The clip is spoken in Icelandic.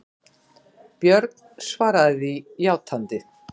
Björn svaraði því játandi.